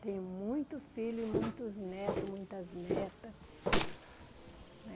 Ter muito filho e muitos netos, muitas netas.